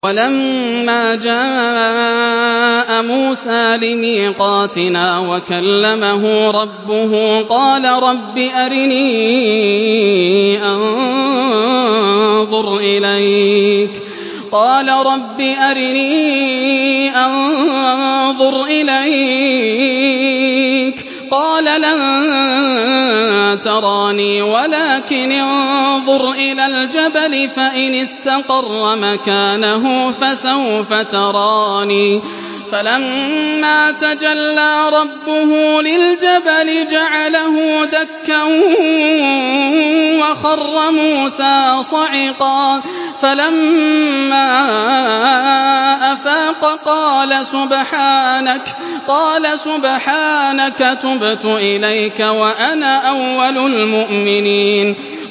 وَلَمَّا جَاءَ مُوسَىٰ لِمِيقَاتِنَا وَكَلَّمَهُ رَبُّهُ قَالَ رَبِّ أَرِنِي أَنظُرْ إِلَيْكَ ۚ قَالَ لَن تَرَانِي وَلَٰكِنِ انظُرْ إِلَى الْجَبَلِ فَإِنِ اسْتَقَرَّ مَكَانَهُ فَسَوْفَ تَرَانِي ۚ فَلَمَّا تَجَلَّىٰ رَبُّهُ لِلْجَبَلِ جَعَلَهُ دَكًّا وَخَرَّ مُوسَىٰ صَعِقًا ۚ فَلَمَّا أَفَاقَ قَالَ سُبْحَانَكَ تُبْتُ إِلَيْكَ وَأَنَا أَوَّلُ الْمُؤْمِنِينَ